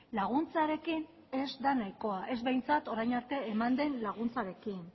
laguntzarekin ez da nahikoa ez behintzat orain arte eman den laguntzarekin